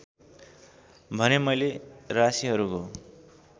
भने मैले राशिहरूको